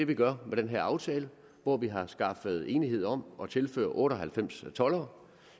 vi gør med den her aftale hvor vi har skaffet enighed om at tilføre otte og halvfems toldere